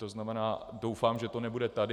To znamená, doufám, že to nebude tady.